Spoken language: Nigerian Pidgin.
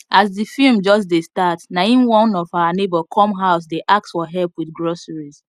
as the film just dey start na im one of our neighbor come house dey ask for help with groceries